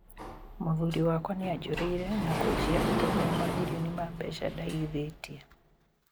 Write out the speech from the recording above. Mũthuri wakwa nĩajũrĩire na kũjia ũtonga wa mamilioni ma mbeca ndaigĩthĩtie'